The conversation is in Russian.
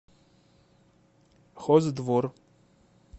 хоздвор